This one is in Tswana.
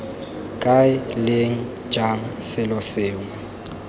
kae leng jang selo sengwe